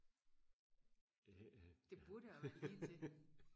det burde og være lige til